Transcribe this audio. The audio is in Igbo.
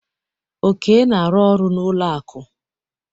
Oke na-arụ ọrụ n'ụlọ akụ.